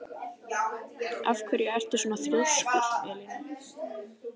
Af hverju ertu svona þrjóskur, Elíana?